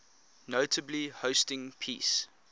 notably hosting peace